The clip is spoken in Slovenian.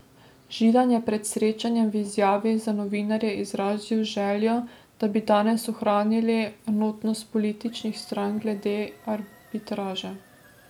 Židan je pred srečanjem v izjavi za novinarje izrazil željo, da bi danes ohranili enotnost političnih strank glede arbitraže.